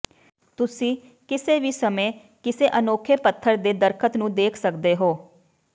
ਤੁਸੀਂ ਕਿਸੇ ਵੀ ਸਮੇਂ ਕਿਸੇ ਅਨੋਖੇ ਪੱਥਰ ਦੇ ਦਰੱਖਤ ਨੂੰ ਦੇਖ ਸਕਦੇ ਹੋ